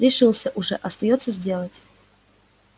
решился уже остаётся сделать